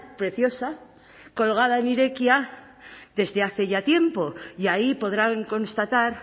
preciosa colgada en irekia desde hace ya tiempo y ahí podrán constatar